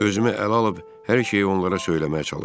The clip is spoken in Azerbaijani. Özümü ələ alıb hər şeyi onlara söyləməyə çalışdım.